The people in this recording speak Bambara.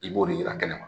I b'o de yira kɛnɛ ma